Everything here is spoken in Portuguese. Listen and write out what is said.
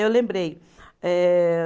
Eu lembrei. Eh